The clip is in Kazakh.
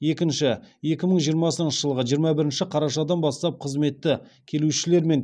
екінші екі мың жиырмасыншы жылғы жиырма бірінші қарашадан бастап қызметі келушілермен